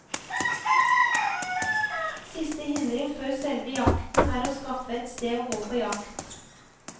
Siste hindring før selve jakten er å skaffe et sted å gå på jakt.